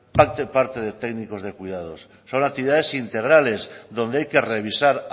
parte del parque de técnicos de cuidados son actividades integrales donde hay que revisar